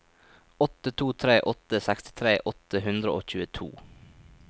åtte to tre åtte sekstitre åtte hundre og tjueto